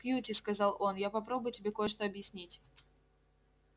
кьюти сказал он я попробую тебе кое-что объяснить